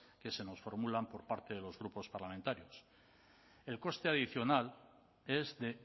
que se nos formulan por parte de los grupos parlamentarios el coste adicional es de